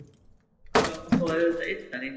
Já og auðvitað yddari